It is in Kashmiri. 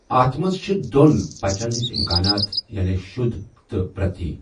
اَتھ منٛز چھِ دوٚن پچَن ہٕنٛز امکانات، یعنی شدھ تہٕ پرتی۔